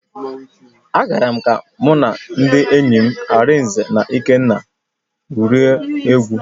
Agara m ka mụ na ndị enyi m, Arinze na Ikenna gwurie egwu.